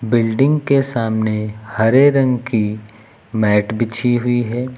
Building के सामने हरे रंग की मैट बिछी हुई है।